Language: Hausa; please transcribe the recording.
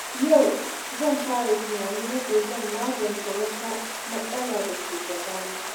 Yau, zan fara tunanin yadda zan magance wata matsala da ke gabana.